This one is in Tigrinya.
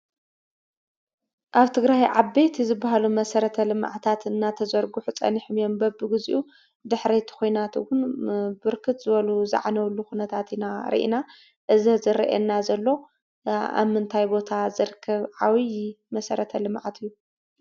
ኣብ ትግራይ ዓበይቲ ዝበሃሉ መሰረተ ልምዓታት እንዳተዘርግሑ ፀኒሖም እዮም ።በቢግዚኡ ድሕሪ እቲ ኩናት እውን ብርክት ዝበሉ ዝዓነውሉ ኩነታት ኢና ሪኢና። እዚ ዝርአየና ዘሎ ኣብ ምንታይ ቦታ ዝርከብ ዓብይ መሰረተ ልምዓት እዩ ?